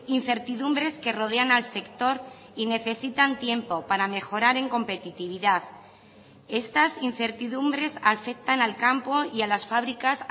incertidumbres que rodean al sector y necesitan tiempo para mejorar en competitividad estas incertidumbres afectan al campo y a las fábricas